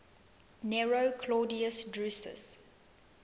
nero claudius drusus